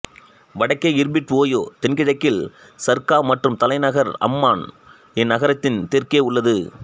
வடக்கே இர்பிட் ஓயோ தென்கிழக்கில் சர்கா மற்றும் தலைநகர் அம்மான் இந்நகரத்தின் தெற்கே உள்ளது